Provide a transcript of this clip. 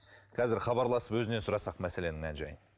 қазір хабарласып өзінен сұрасақ мәселенің мән жайын